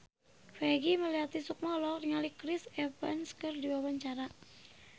Peggy Melati Sukma olohok ningali Chris Evans keur diwawancara